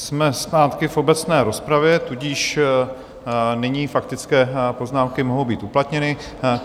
Jsme zpátky v obecné rozpravě, tudíž nyní faktické poznámky mohou být uplatněny.